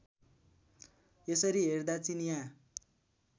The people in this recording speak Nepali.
यसरी हेर्दा चिनियाँ